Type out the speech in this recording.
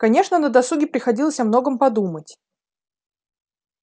конечно на досуге приходилось о многом подумать